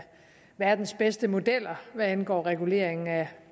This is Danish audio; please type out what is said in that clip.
verdens bedste modeller hvad angår reguleringen af